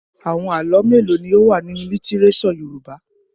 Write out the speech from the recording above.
Àwọn àlọ́ mélòó ni ó wà nínú lítíréṣọ̀ Yorùbá?